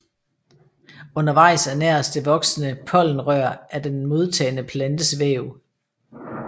Undervejs ernæres det voksende pollenrør af den modtagende plantes væv